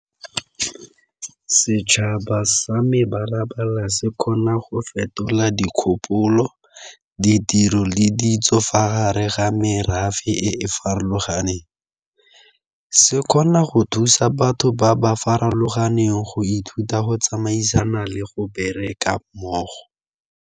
Setšhaba sa me se kgona go fetola dikgopolo, ditiro le ditso fa gare ga merafe e e farologaneng, se kgona go thusa batho ba ba farologaneng go ithuta go tsamaisana le go bereka mmogo.